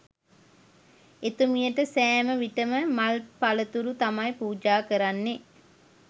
එතුමියට සෑම විටම මල් පළතුරු තමයි පූජා කරන්නේ